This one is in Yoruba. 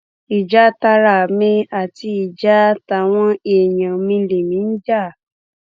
ìjà tara mi àti ìjà táwọn èèyàn lèmi ń jà